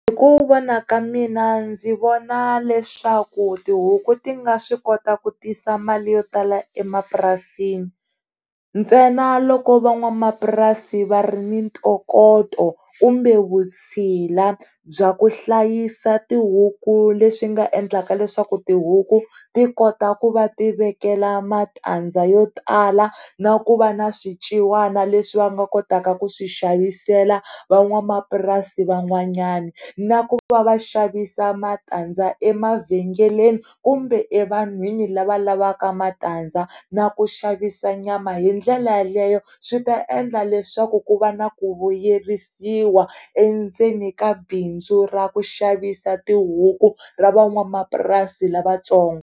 Hi ku vona ka mina ndzi vona leswaku tihuku ti nga swi kota ku tisa mali yo tala emapurasini ntsena loko van'wamapurasi va ri ni ntokoto kumbe vutshila bya ku hlayisa tihuku le swi nga endlaka leswaku tihuku tikota ku va tivekela matandza yo tala na ku va na swiciwana leswi va nga kotaka ku swi xavisela van'wamapurasini van'wanyana na ku va vaxavisi matandza emavhengeleni kumbe evanhwini lava lavaka matandza na ku xavisa nyama hi tindlela leyo swi ta endla leswaku ku va na ku vuyerisiwa endzeni ka bindzu ra ku xavisa tihuku ra van'wamapurasi lavatsongo.